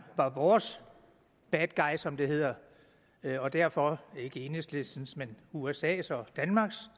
var vores bad guy som det hedder og derfor ikke enhedslistens men usas og danmarks